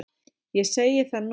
Ég segi það nú!